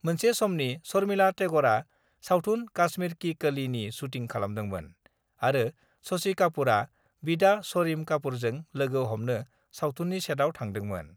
मेनसे समनि शर्मिला टेगरआ सावथुन काश्मीर कि कलि' नि शुटिं खालामदोंमोन आरो शशि कापुरआ बिदा शरिम कापुरजों लोगो हमनो सावथुननि सेटआव थांदोंमोन।